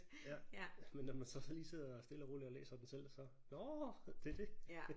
Ja jamen når man så lige sidder stille og roligt og læser den selv så nåh det er det